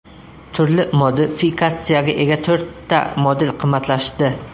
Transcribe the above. Turli modifikatsiyaga ega to‘rtta model qimmatlashdi.